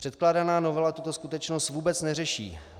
Předkládaná novela tuto skutečnost vůbec neřeší.